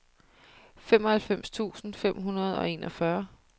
femoghalvfems tusind fem hundrede og enogfyrre